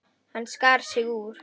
Hann skar sig úr.